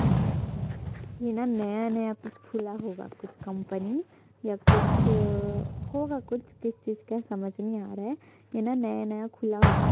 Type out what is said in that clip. ये न नया नया कुछ खुला होगा कुछ कम्पनी ये कुछ होगा कुछ किस चीज का है समझ नई आ रहा है की ना नया नया खुला होगा --